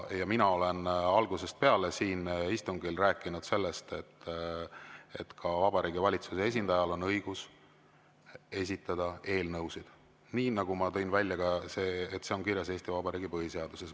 Mina olen algusest peale siin istungil rääkinud sellest, et ka Vabariigi Valitsuse esindajal on õigus esitada eelnõusid, ja ma tõin välja selle, et see on kirjas Eesti Vabariigi põhiseaduses.